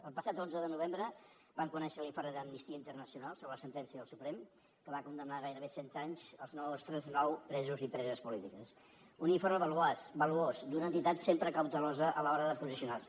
el passat onze de novembre vam conèixer l’informe d’amnistia internacional sobre la sentència del suprem que va condemnar a gairebé cent anys els nostres nou presos i preses polítics un informe valuós d’una entitat sempre cautelosa a l’hora de posicionar se